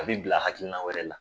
A bi bila hakilina wɛrɛ la.